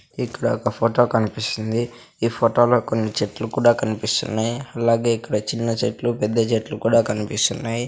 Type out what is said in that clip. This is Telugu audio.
ఇక్కడ ఒక ఫోటో కనిపిస్సుంది ఈ ఫోటో లో కొన్ని చెట్లు కూడా కనిపిస్సున్నాయ్ అలాగే ఇక్కడ చిన్న చెట్లు పెద్ద చెట్లు కూడా కనిపిస్సున్నాయ్.